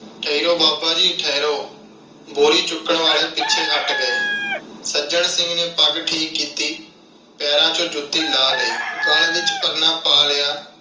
ਠਹਿਰੋ ਬਾਬਾ ਜੀ ਠਹਿਰੋ। ਬੋਰੀ ਚੁੱਕਣ ਵਾਲੇ ਪਿੱਛੇ ਹਟ ਗਏ। ਸੱਜਣ ਸਿੰਘ ਨੇ ਪੱਗ ਠੀਕ ਕੀਤੀ, ਪੈਰਾਂ ਵਿਚੋਂ ਜੁੱਤੀ ਲਾਹ ਲਈ, ਗਲ ਵਿਚ ਪਰਨਾ ਪਾ ਲਿਆ।